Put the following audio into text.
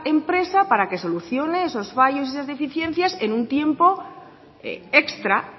empresa para que solucione esos fallos y esas deficiencias en un tiempo extra